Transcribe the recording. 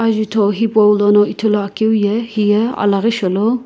zuto hipou lono ithulu akeu ye hiye alaghi sholo.